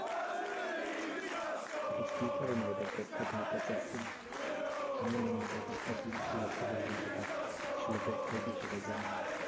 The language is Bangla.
ঠিক কি কারণে হয়? এটার ব্যাখ্যা তোমার কাছে? আমি না ব্যাপারটা বুঝি লক্ষ্য করি কিন্তু তার আসলে ব্যাখ্যা কি সেটা জানিনা?